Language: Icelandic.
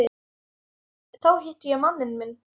Þá hitti ég manninn minn.